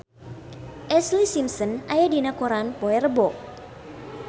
Ashlee Simpson aya dina koran poe Rebo